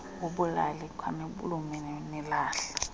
wobulali khanilume nilahla